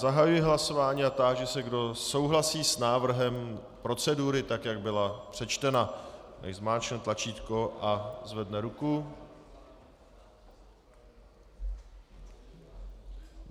Zahajuji hlasování a táži se, kdo souhlasí s návrhem procedury tak, jak byla přečtena, nechť zmáčkne tlačítko a zvedne ruku.